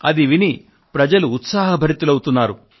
అది విని ప్రజలు ఉత్సాహభరితులు అవుతారు